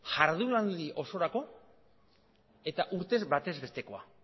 jardunaldi osorako eta urtez batez bestekoa